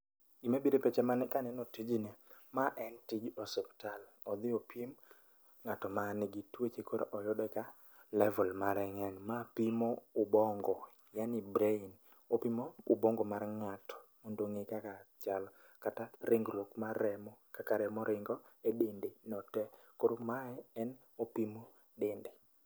Gimabiro e pacha ma an kaneno tijni. Ma en tij osuptal, odhi opim ng'at manigi tuoche koro oyude ka level mare ng'eny. Ma pimo ubongo yani brain, opimo ubongo mar ng'ato mondo ong'e kaka chal kata ringruok mar remo kaka remo ringo e dende no te koro mae en opimo dende.